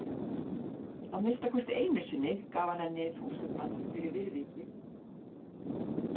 Að minnsta kosti einu sinni gaf hann henni þúsundkall fyrir viðvikið.